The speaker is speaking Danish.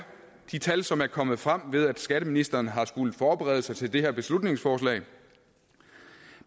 de tal som er kommet frem ved at skatteministeren har skullet forberede sig til det her beslutningsforslag